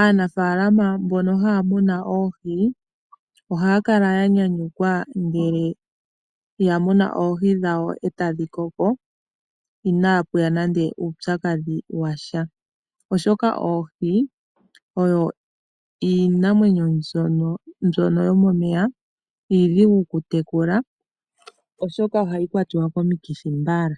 Aanafalama mbono haamunu oohi ohaakala yanyanyukwa ngele yamunu oohi dhawo etadhi koko inaapuya nande uupyakadhi washa, oshoka oohi odho iinamwenyo mbyono yomomeya iidhigu okutekula oshoka ohayi kwatiwa komikithi mbala